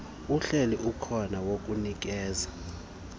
uhleli ukhona wokunikeza